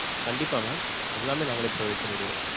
கண்டிப்பா mam. எல்லாமே நாங்களே provide பண்ணிருவோம்.